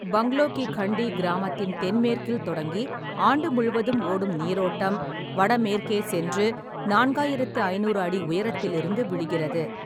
பங்க்லோ கி கண்டி கிராமத்தின் தென்மேற்கில் தொடங்கி ஆண்டு முழுவதும் ஓடும் நீரோட்டம், வடமேற்கே சென்று நான்காயிரத்து ஐநூறு அடி உயரத்திலிருந்து விழுகிறது.